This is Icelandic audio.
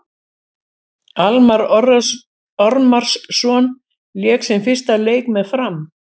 Almarr Ormarsson lék sinn fyrsta leik með Fram.